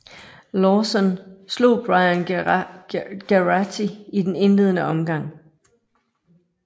Lauzon slog Brian Geraghty i den indledende omgang